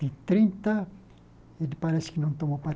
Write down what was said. De trinta, ele parece que não tomou